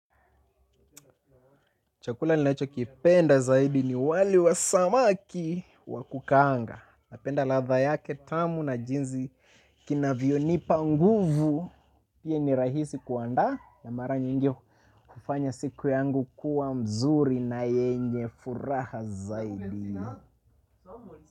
Chakula ni nacho kipenda zaidi ni wali wa samaki wakukaanga. Napenda ladha yake tamu na jinsi kina vyonipa nguvu. Pia ni rahisi kuandaa na mara nyingi kufanya siku yangu kuwa nzuri na yenye furaha zaidi.